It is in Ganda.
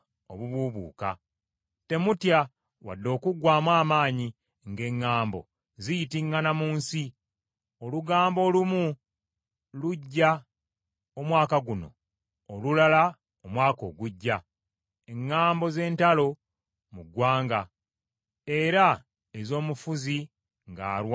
Temutya wadde okuggwaamu amaanyi ng’eŋŋambo ziyitiŋŋana mu nsi; olugambo olumu lujja omwaka guno, olulala omwaka ogujja, eŋŋambo z’entalo mu ggwanga, era ez’omufuzi ng’alwana ne mufuzi munne.